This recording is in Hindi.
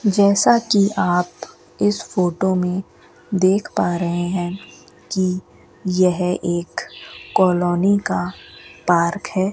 जैसा कि आप इस फोटो में देख पा रहे हैं कि यह एक कॉलोनी का पार्क है।